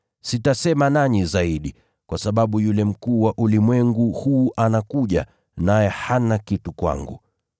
Sitasema nanyi zaidi, kwa sababu yule mkuu wa ulimwengu huu anakuja, naye hana kitu kwangu,